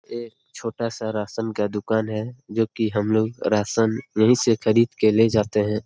ये छोटा सा राशन का दुकान है जो की हम लोग राशन यही से खरीदके ले जाते हैं।